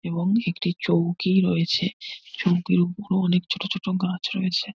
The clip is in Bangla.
এবং একটি চৌকি রয়েছে। চৌকির ওপরে অনেক ছোট ছোট গাছ রয়েছে।